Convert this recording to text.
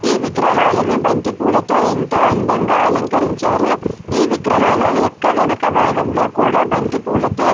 ఈ విగ్రహాల్ని బంతిపూలతో ఎంతో అందంగా అలంకరించారు. ఈ విగ్రహాల యొక్క వెనుక భాగంలో కూడా బంతిపూలతో --